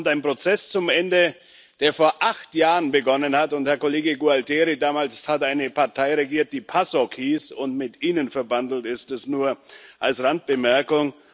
Damit kommt ein Prozess zum Ende, der vor acht Jahren begonnen hat, und, Herr Kollege Gualtieri, damals hat eine Partei regiert, die PASOK hieß und mit ihnen verbandelt ist, dies nur als Randbemerkung.